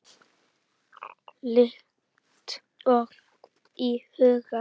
Líkt og í huga Júlíu.